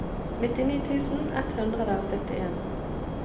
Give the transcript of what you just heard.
nittini tusen ett hundre og syttien